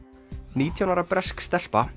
nítján ára bresk stelpa